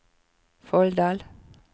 Folldal